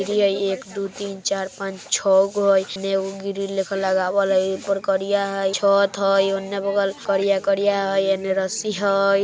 ये ऐक दू तीन चार पांच छ गो इसमें वो ग्रीन लिखेला आवल है ऊपर करिया है छत है उनने बगल करिया करिया है एने रस्सी हई।